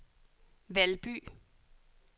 Valby